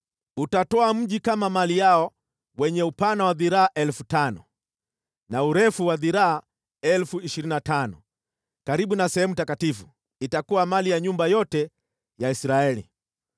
“ ‘Utatoa mji kama mali yao wenye upana wa dhiraa 5,000 na urefu wa dhiraa 25,000, karibu na sehemu takatifu, itakuwa mali ya nyumba yote ya Israeli.